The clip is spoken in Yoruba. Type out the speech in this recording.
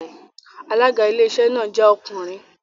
Alága Iléeṣẹ́ náà jẹ́ ọkùnrin